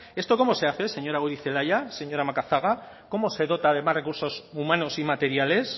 esto cómo se hace señora goirizelaia señora macazaga cómo se dota de más recursos humanos y materiales